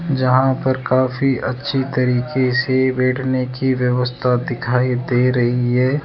जहां पर काफी अच्छी तरीके से बैठने की व्यवस्था दिखाई दे रही है।